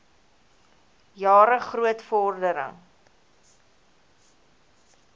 jare groot vordering